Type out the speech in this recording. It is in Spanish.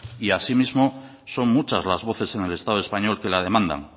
y asimismo son muchas las voces en el estado español que la demandan